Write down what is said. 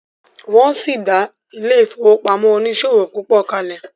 wón sí dá ile-ifowopamọ oniṣòwo pupo kale.